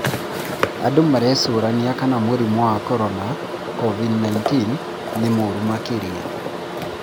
Andũ marecũrania kana mũrimũ wa korona Covid-19 nĩmũũru makĩria